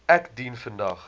ek dien vandag